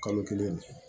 Kalo kelen